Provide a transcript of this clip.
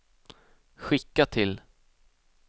skicka till